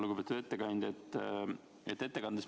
Lugupeetud ettekandja!